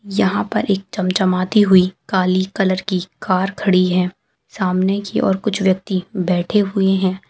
यहाँ पर एक चमचमाती हुई काली कलर की कार खड़ी है सामने की और कुछ व्यक्ति बैठे हुए हैं।